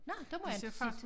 Nå dem har jeg inte set